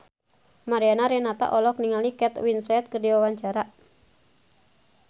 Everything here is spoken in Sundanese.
Mariana Renata olohok ningali Kate Winslet keur diwawancara